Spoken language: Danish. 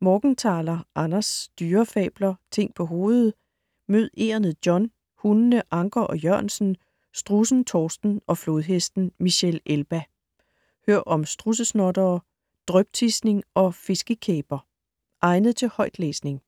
Morgenthaler, Anders: Dyrefabler - ting på hovedet Mød egernet John, hundene Anker og Jørgensen, strudsen Torsten og flodhesten Michelle Elba. Hør om strudsesnottere, dryptisning og fiskekæber! Egnet til højtlæsning.